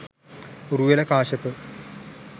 Uruvela Kashyapa,